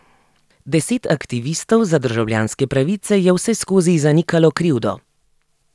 Deset aktivistov za državljanske pravice je vseskozi zanikalo krivdo.